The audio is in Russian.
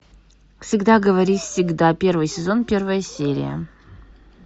всегда говори всегда первый сезон первая серия